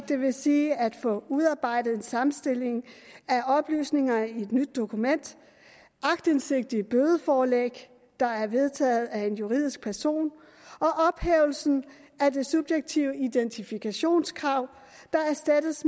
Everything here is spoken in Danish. det vil sige at få udarbejdet en sammenstilling af oplysninger i et nyt dokument aktindsigt i et bødeforelæg der er vedtaget af en juridisk person og ophævelse af det subjektive identifikationskrav der erstattes